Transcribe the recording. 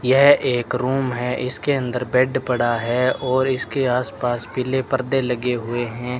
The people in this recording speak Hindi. यह एक रूम है इसके अंदर बेड पड़ा है और इसके आसपास पीले पर्दे लगे हुए हैं।